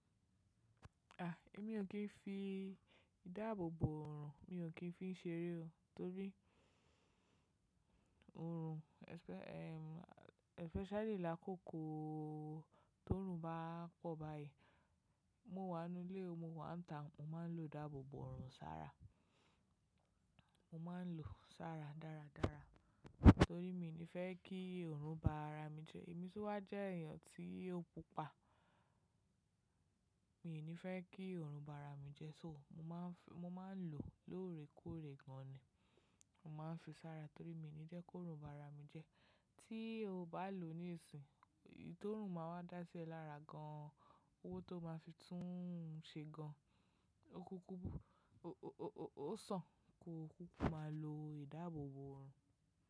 À, èmi ò kí ń fi ìdáàbòbò òòrùn, mi ò kí ń fi ń ṣe eré o. Torí òòrùn especially làkòókò tó òòrùn bá pọ̀ báyìí. Mo wà nú ilé mo máa ń ta, mo máa ń lo ìdáàbòbò òòrùn sára. Mo máa ń lò sára dáradára. Torí mi ni fẹ́ kí òòrùn bá ara mi jẹ. Èmi sì wà jẹ́ èèyàn tí ó pupa. Mi ò ní fẹ́ kí òòrùn bá ara mi jẹ́ so mo máa ń, mo máa ń lò lóòrèkóòrè gan ni. Mo máa ń fi sára torí mi ò ní jẹ́ kí òòrùn bá ara mi jẹ́. Tí o bá lò ní ìsìn, iyí tó òòrùn máa wá dá sí ẹ́ lára gan an. Owó tó máa fi tún un ṣe gan an. Ó kúkú, ó sàn kí o kúkú máa lo ìdáàbòbò òòrùn.